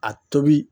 A tobi